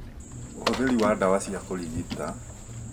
ũhũthĩri wa ndawa cia kũrigita